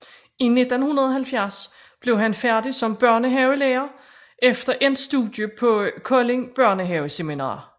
I 1970 blev han færdig som børnehavelærer efter endt studie på Kolding Børnehaveseminarium